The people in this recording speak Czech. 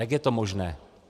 Jak je to možné?